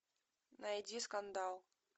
найди скандал